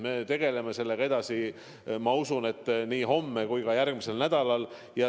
Me tegeleme sellega edasi, ma usun, nii homme kui ka järgmisel nädalal.